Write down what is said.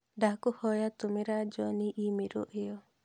ndakũhoya tũmĩra John i-mīrū ĩyo